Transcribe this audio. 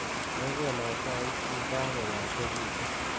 Mekono chaik chi kakoyachekitu.